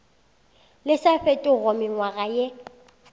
le sa fetego mengwaga ye